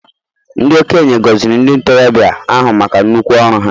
Ndị okenye gọziri ndị ntorobịa ahụ maka nnukwu ọrụ ha.